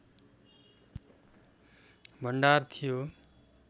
भण्डार थियो